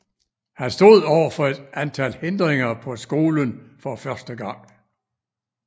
Han stod over for et antal hindringer på skolen for første gang